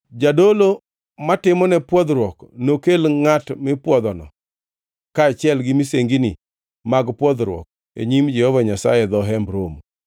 Jadolo matimone pwodhruok nokel ngʼat mipwodhono kaachiel gi misenginine mag pwodhruok e nyim Jehova Nyasaye e dho Hemb Romo.